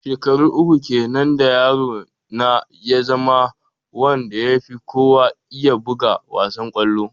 Shekaru uku kenan da yaro na ya zama wanda ya fi kowa iya buga wassan kollo.